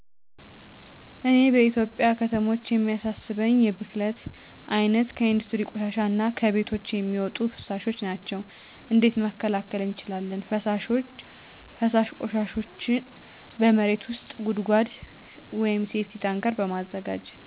እኔ በኢትዮጵያ ከተሞች የሚያሳስበኝ የብክለት አይነት ከኢንዱስትሪ ቆሻሻ እና ከቤቶች የሚወጡ ፍሣሾች ናቸው። እንዴት መከላከል እንችላለን ፈሣሽ ቆሻሾችን በመሬት ውስጥ ጉድጓድ(ሴፍቲታንከር) በማዘጋጀት።